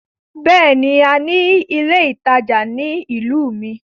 Bẹ́ẹ̀ni, a ní ilé ìtajà ní ìlú mi.